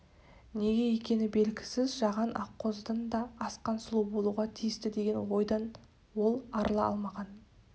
неге екені белгісіз жаған аққозыдан да асқан сұлу болуға тиісті деген ойдан ол арыла алмаған